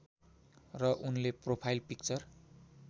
र उनले profile picture